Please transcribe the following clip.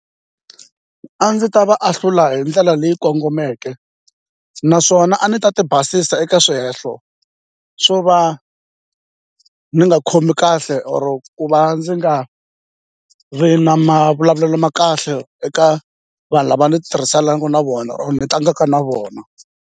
A ndzi ta va ahlula hi ndlela leyi kongomeke naswona a ni ta ti basisa eka swihehlo swo va ni nga khomi kahle or ku va ndzi nga ri na mavulavulelo ma kahle eka vanhu lava ni tirhisanaku na vona or ni tlangaka na vona.